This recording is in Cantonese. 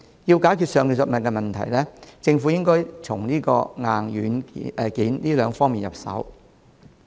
要解決上述問題，政府需從硬件及軟件兩方面入手。